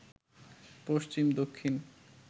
পশ্চিম, দক্ষিণ,